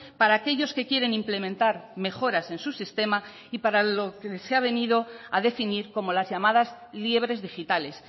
para aquellos que quieren implementar mejoras en su sistema y para lo que se ha venido a definir como las llamadas liebres digitales